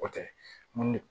O tɛ mun ne